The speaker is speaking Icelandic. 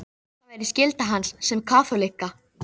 Það væri skylda hans sem kaþólikka.